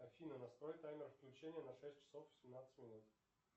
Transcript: афина настрой таймер включения на шесть часов семнадцать минут